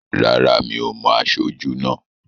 Rárá, mi ò mo aṣojú náà